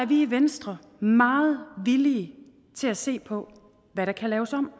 vi i venstre meget villige til at se på hvad der kan laves om